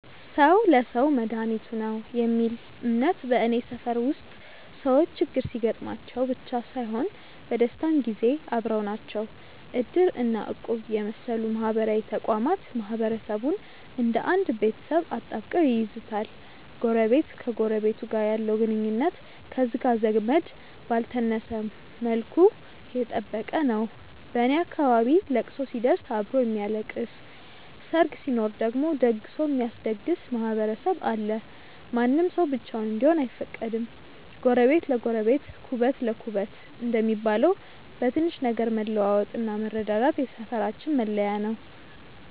"ሰው ለሰው መድኃኒቱ ነው" የሚል እምነት በኔ ሰፈር ውስጥ ሰዎች ችግር ሲገጥማቸው ብቻ ሳይሆን በደስታም ጊዜ አብረው ናቸው። እድር እና እቁብ የመሰሉ ማህበራዊ ተቋማት ማህበረሰቡን እንደ አንድ ቤተሰብ አጣብቀው ይይዙታል። ጎረቤት ከጎረቤቱ ጋር ያለው ግንኙነት ከሥጋ ዘመድ ባልተነሰ መልኩ የጠበቀ ነው። በኔ አካባቢ ለቅሶ ሲደርስ አብሮ የሚያለቅስ፣ ሰርግ ሲኖር ደግሞ ደግሶ የሚያስደግስ ማህበረሰብ አለ። ማንም ሰው ብቻውን እንዲሆን አይፈቀድም። "ጎረቤት ለጎረቤት ኩበት ለኩበት" እንደሚባለው፣ በትንሽ ነገር መለዋወጥና መረዳዳት የሰፈራችን መለያ ነው።